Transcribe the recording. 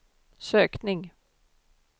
sökning